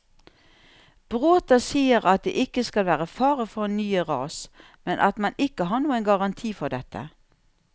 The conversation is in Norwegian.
Bråta sier at det ikke skal være fare for nye ras, men at man ikke har noen garanti for dette.